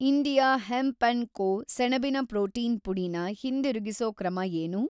India hemp and co. ಸೆಣಬಿನ‌ protein ಪುಡಿನ ಹಿಂದಿರುಗಿಸೋ ಕ್ರಮ ಏನು?